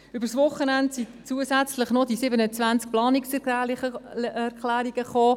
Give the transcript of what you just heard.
Über das Wochenende gingen 27 zusätzliche Planungserklärungen ein.